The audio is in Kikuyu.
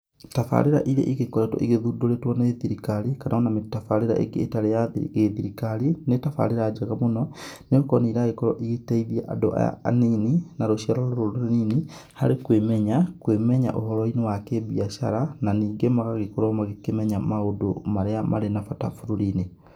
Tabarĩra iria igĩkoretwo igĩthundũrĩtwo nĩ thirikari kana ona tabarĩra ĩngĩ ĩtarĩ ya gĩthirikari nĩ tabarĩra njega mũno, nĩ gũkorwo nĩ iragĩkorwo igĩteithia andũ aya anini na rũciaro rũrũ rũnini, harĩ kwĩmenya, kwĩmenya ũhoro-inĩ wa kĩ-biacara na ningĩ magagĩkorwo magĩkĩmenya maũndũ marĩa marĩ na bata bũrũri-inĩ.